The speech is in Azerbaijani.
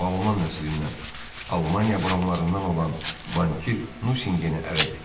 O alman nəslindən, Almaniya bronlarından olan bankir Nusingeni ərə getdi.